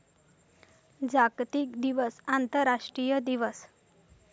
जागतिक दिवस आंतरराष्ट्रीय दिवस.